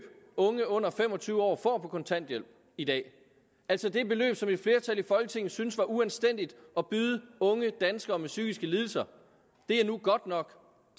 unge under fem og tyve år får på kontanthjælp i dag altså det beløb som et flertal i folketinget syntes var uanstændigt at byde unge danskere med psykiske lidelser er nu godt nok